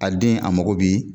A den a mago bi